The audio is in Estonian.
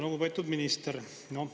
Lugupeetud minister!